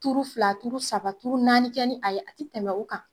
Tuuru fila tuuru saba tuuru naani kɛ ni a ye, a ti tɛmɛ o kan.